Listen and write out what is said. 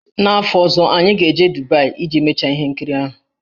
N'afọ ọzọ, anyị ga-aga Dubaị iji mechaa ihe nkiri ahụ.